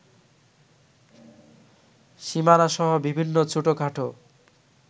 সীমানাসহ বিভিন্ন ছোটখাটো